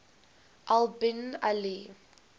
al bin ali